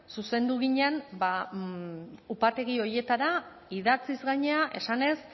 zuzendu ginen ba upategi horietara idatziz gainera esanez